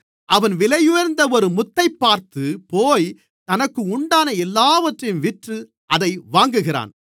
அவன் விலையுயர்ந்த ஒரு முத்தைப் பார்த்து போய் தனக்குண்டான எல்லாவற்றையும் விற்று அதை வாங்குகிறான்